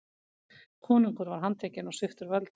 Konungur var handtekinn og sviptur völdum.